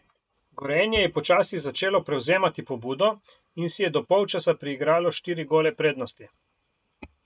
Gorenje je počasi začelo prevzemati pobudo in si je do polčasa priigralo štiri gole prednosti.